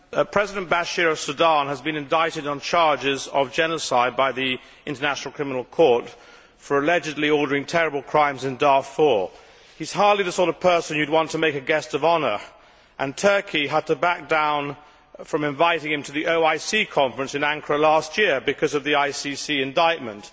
Madam President, President Omar al Bashir of Sudan has been indicted on charges of genocide by the International Criminal Court for allegedly ordering terrible crimes in Darfur. He is hardly the sort of person you would want to make a guest of honour, and Turkey had to back down from inviting him to the OIC Conference on Ankara last year because of the ICC indictment.